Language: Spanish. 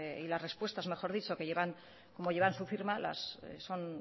y las respuestas mejor dicho como llevan su firma son